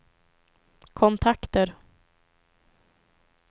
kontakter